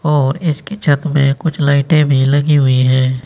और इसके छत में कुछ लाइटे भी लगी हुई है।